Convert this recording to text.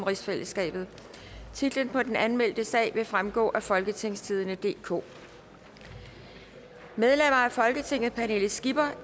halvtreds titlen på den anmeldte sag vil fremgå af folketingstidende DK medlemmer af folketinget pernille skipper